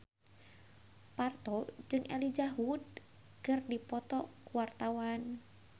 Parto jeung Elijah Wood keur dipoto ku wartawan